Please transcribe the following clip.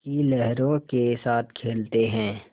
की लहरों के साथ खेलते हैं